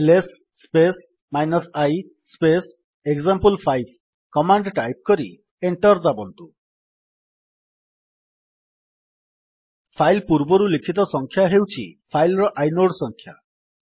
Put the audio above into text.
LS space i space ଏକ୍ସାମ୍ପଲ5 command type କରି enter ଦାବନ୍ତୁ ଫାଇଲ୍ ପୂର୍ବରୁ ଲିଖିତ ସଂଖ୍ୟା ହେଉଛି ଫାଇଲ୍ ର ଆଇନୋଡ୍ ସଂଖ୍ୟା